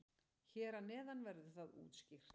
Hér að neðan verður það útskýrt.